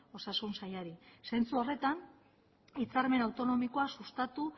osasun sailari zentzu horretan hitzarmen autonomikoa sustatu